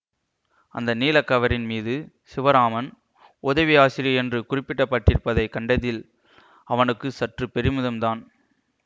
அந்த நீளக் கவரின் மீது சிவராமன் உதவி ஆசிரியர் என்று குறிப்பிட்டப்பட்டிருப்பதைக் கண்டதில் அவனுக்கு சற்று பெருமிதம்தான்